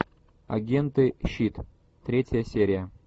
агенты щит третья серия